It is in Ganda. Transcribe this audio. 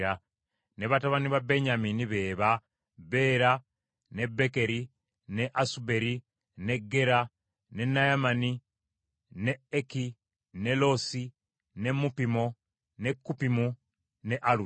Ne batabani ba Benyamini be ba: Bera, ne Bekeri, ne Asuberi, ne Gera, ne Naamani, ne Eki, ne Losi, ne Mupimu, ne Kupimu ne Aludi.